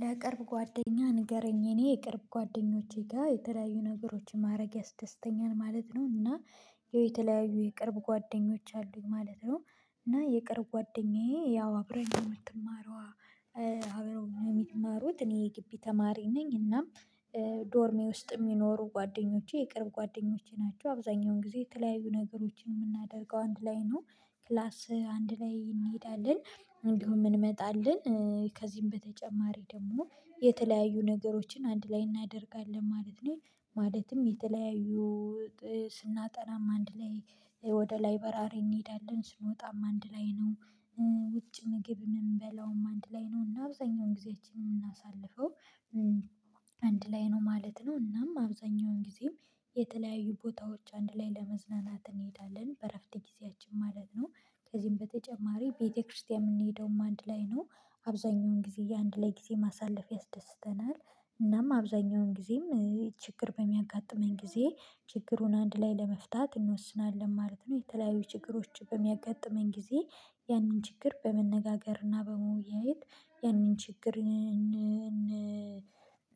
ለቅርብ ጓደኛ ንገረኝ። እኔ የቅርብ ጓደኞቼ ጋር የተለያዩ ነገሮችን ማድረግ ያስደስተኛል ማለት ነው እና የተለያዩ የቅርብ ጓደኞች አሉኝ ማለት ነው። እና የቅርብ ጓደኛዬ ያው አብረን የምትማረው አብረው የምትማሩት እኔ የግቢ ተማሪ ነኝ እናም ዶርሜ ውስጥ የሚኖሩ ጓደኞቼ የቅርብ ጓደኞቼ ናቸው። አብዛኛውን ጊዜ የተለያዩ ነገሮችን የምናደርገው አንድ ላይ ነው። ክላስ አንድ ላይ እንሄዳለን እንዲሁ እንመጣለን ከዚህም በተጨማሪ ደግሞ የተለያዩ ነገሮችን አንድ ላይ እናደርጋለን ማለት ነው ማለትም የተለያዩ ስናጠናም አንድ ላይ ወደ ላይበራሪ እንሄዳለን፣ ስንወጣም አንድ ላይ ነው፣ ውጭ ምግብ የምንበላውም አንድ ላይ ነው እና አብዛኛውን ጊዜያችን የምናሳልፈው አንድ ላይ ነው ማለት ነው። እናም አብዛኛውን ጊዜ የተለያዩ ቦታዎች አንድ ላይ ለመዝናናት እንሄዳለን። በእረፍት ጊዜያችን ማለት ነው። ከዚህም በተጨማሪ ቤተክርስቲያን የምንሄደውም አንድ ላይ ነው። አብዛኛውን ጊዜ የአንድ ላይ ጊዜ ማሳለፍ ያስደስተናል፣ እናም አብዛኛውን ጊዜም ችግር በሚያጋጥመኝ ጊዜ ችግሩን አንድ ላይ ለመፍታት እንወስናለን ማለት ነው። የተለያዩ ችግሮች በሚያጋጥመን ጊዜ ያንን ችግር በመነጋገር እና በመወያየት ያንን ችግር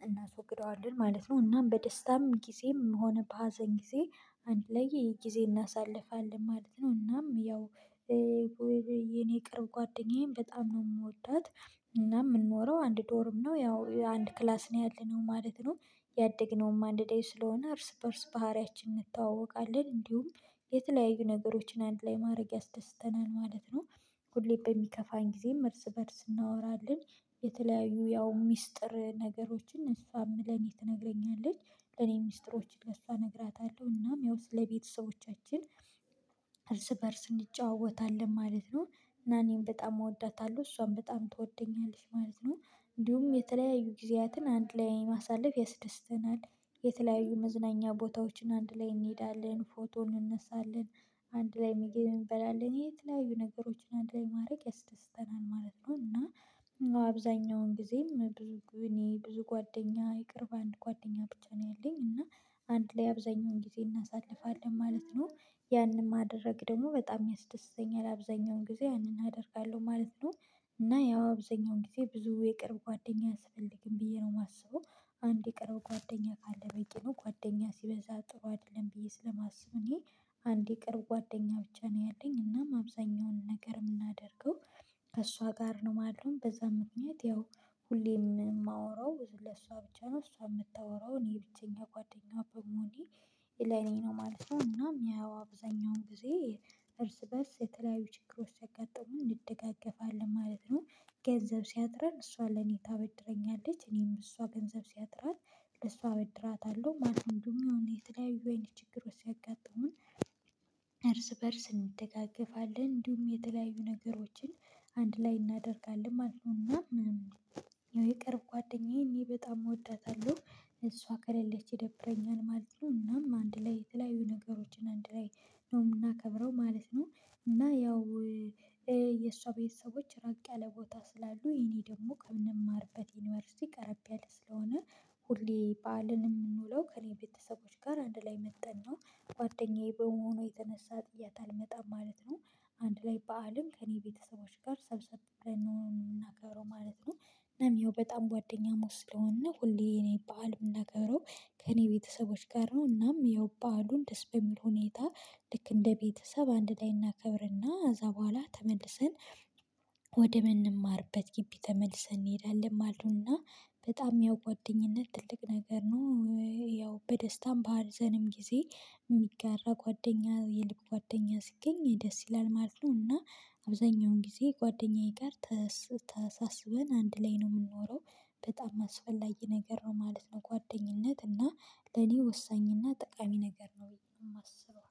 እናስወግደዋለን ማለት ነው። እናም በደስታም ጊዜም ሆነ በሀዘን ጊዜ አንድ ላይ ይሄ ጊዜ እናሳልፋለን ማለት ነው። እናም ያው የኔ ቅርብ ጓደኛዬም በጣም ነው የምወዳት እና የምንኖረው አንድ ዶርም ነው ያው አንድ ክላስ ነው ያለነው ማለት ነው። ያደግነውም አንድ ላይ ስለሆነ እርስ በእርስ ባህሪያችን እንተዋወቃለን እንዲሁም የተለያዩ ነገሮችን አንድ ላይ ማድረግ ያስደስተናል ማለት ነው። ሁሌም በሚከፋኝ ጊዜም እርስ በእርስ እናወራለን። የተለያዩ ያው ሚስጥር ነገሮችን እሷም ምን ለኔ ትነግረኛለች ለኔ ሚስጥሮችን ለእሷ እነግራታለሁ እናም ያው ስለቤተሰቦቻችን እርስ በእርስ እንጨዋወታለን ማለት ነው። እና እኔም በጣም እወዳታለሁ። እሷም በጣም ትወደኛለች ማለት ነው እንዲሁም የተለያዩ ጊዜያትን አንድ ላይ ማሳለፍ ያስደስተናል። የተለያዩ መዝናኛ ቦታዎችን አንድ ላይ እንሄዳለን፣ ፎቶ እንነሳለን፣ አንድ ላይ ምግብ እንበላለን፣ የት ላይ ነገሮችን አንድ ላይ ማድረግ ያስደስተናል ማለት ነው እና አብዛኛውን ጊዜም ብዙ እኔ ብዙ ጓደኛ ይቅርብ አንድ ጓደኛ ብቻ ነው ያለኝ እና አንድ ላይ አብዛኛውን ጊዜ እናሳልፋለን ማለት ነው። ያንን ማደረግ ደግሞ በጣም ያስደስተኛ። አብዛኛውን ጊዜ ያንን አደርጋለሁ ማለት ነው እና ያው አብዛኛውን ጊዜ ብዙ የቅርብ ጓደኛ አያስፈልግም ብዬ ነው የማስበው። አንድ የቅርብ ጓደኛ ካለ በቂ ነው ጓደኛ ሲበዛ ጥሩ አይደለም ብዬ ስለማስብ እኔ አንድ የቅርብ ጓደኛ ብቻ ነው ያለኝ እናም አብዛኛውን ነገር የምናደርገው ከእሷ ጋር ነው ማለት ነው። በዛ ምክንያት ያው ሁሌ የማወራው ለሷ ብቻ ነው፣ እሷ የምታወራው እኔ ብቸኛ ጓደኛ በመሆኔ ለኔ ነው ማለት ነው እናም ያው አብዛኛውን ጊዜ እርስ በእርስ የተለያዩ ችግሮች ሲያጋጠሙን እንደጋገፋለን ማለት ነው። ገንዘብ ሲያጥረን እሷ ለኔ ታበድረኛለች እኔም እሷ ገንዘብ ሲያጥራት ለሷ አበድራታለሁ ማለት ነው። እንደውም የተለያዩ አይነት ችግሮች ሲያጋጥሙን እርስ በእርስ እንደጋገፋለን እንዲሁም የተለያዩ ነገሮችን አንድ ላይ እናደርጋለን ማለት ነው እና የቅርብ ጓደኛዬ እኔ በጣም እወዳታለሁ። እሷ ከሌለች ይደብረኛል ማለት ነው እናም አንድ ላይ የተለያዩ ነገሮችን አንድ ላይ ነው የምናከብረው ማለት ነው እና ያው የሷ ቤተሰቦች ራቅ ያለ ቦታ ስላሉ የኔ ደግሞ ከምንማርበት ዩኒቨርሲቲ ቀረብ ያለ ስለሆነ ሁሌ ባዕልን የምንውለው ከእኔ ቤተሰቦች ጋር አንድ ላይ መጠን ነው። ጓደኛዬ በመሆኑ የተነሳ ጥያት አልመጣም ማለት ነው። አንድ ላይ በዓልን ከእኔ ቤተሰቦች ጋር ሰብሰብ ምናከብረው ማለት ነው። እናም ይኸው በጣም ጓደኛሞች ስለሆንነ እና ሁሌ እኔ በዓልየምናከብረው ከእኔ ቤተሰቦች ጋር ነው እናም በዓሉን ደስ በሚል ሁኔታ ልክ እንደ ቤተሰብ አንድ ላይ እናከብር እና ከዛ በኋላ ተመልሰን ወደ ምንማርበት ግቢ ተመልሰን እንሄዳለን ማለት ነው እና በጣም ያው ጓደኝነት ትልቅ ነገር ነው፣ ያው በደስታም፣ በሀዘንም ጊዜ የሚጋራ ጓደኛ የልብ ጓደኛ ሲገኝ ደስ ይላል ማለት ነው እና አብዛኛውን ጊዜ ጓደኛዬ ጋር ተሳስበን አንድ ላይ ነው ምንኖረው። በጣም አስፈላጊ ነገር ነው ማለት ነው ጓደኝነት እና ለኔ ወሳኝና ጠቃሚ ነገር ነው የማስበው።